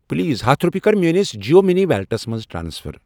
Please ہتھَ رۄپیہِ کر میٲنِس جِیو مٔنی ویلٹس مَنٛز ٹرانسفر۔